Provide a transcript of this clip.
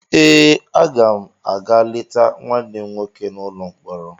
Ee, aga m a ga-leta nwanne m nwoke n’ụlọ mkpọrọ.